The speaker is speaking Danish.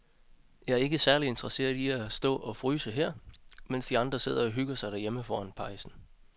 Jeg er ikke særlig interesseret i at stå og fryse her, mens de andre sidder og hygger sig derhjemme foran pejsen.